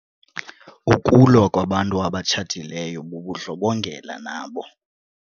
Ukulwa kwabantu abatshatileyo bubundlobongela nabo.